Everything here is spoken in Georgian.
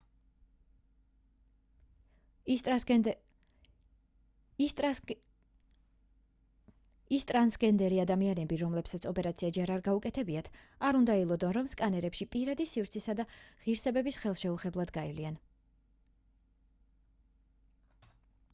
ის ტრანსგენერი ადამიანები რომლებსაც ოპერაცია ჯერ არ გაუკეთებიათ არ უნდა ელოდონ რომ სკანერებში პირადი სივრცისა და ღირსების ხელშეუხლებლად გაივლიან